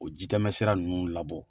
O jijamɛ sira nunnu labɔ